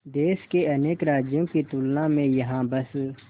देश के अनेक राज्यों की तुलना में यहाँ बस